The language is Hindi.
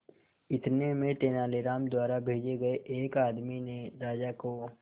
इतने में तेनालीराम द्वारा भेजे गए एक आदमी ने राजा को